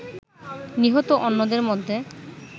নিহত অন্যদের মধ্যে